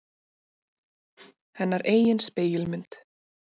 Hennar eigin spegilmynd.